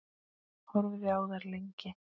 Horfði á þær lengi.